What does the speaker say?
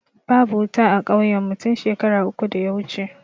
Babu wuta a kauyen mu tun shekara uku da ya wuce